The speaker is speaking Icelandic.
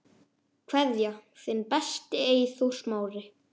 Kveðja, þinn besti, Eyþór Smári.